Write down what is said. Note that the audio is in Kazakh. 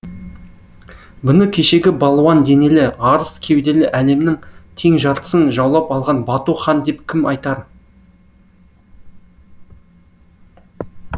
бұны кешегі балуан денелі арыс кеуделі әлемнің тең жартысын жаулап алған бату хан деп кім айтар